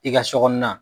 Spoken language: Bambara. I ka sɔ kɔnɔna